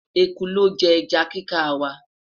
ẹkú looje eja kika wa